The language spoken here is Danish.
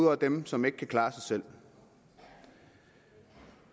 over dem som ikke kan klare sig selv vi